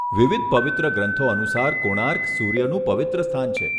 વિવિધ પવિત્ર ગ્રંથો અનુસાર, કોણાર્ક સૂર્યનું પવિત્ર સ્થાન છે.